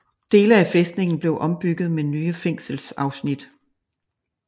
Dele af fæstningen blev ombygget med nye fængselsafsnit